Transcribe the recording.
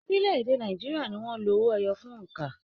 Orílè-èdè Nàìjíríà ní wọn lò owó ẹyọ fún óńka.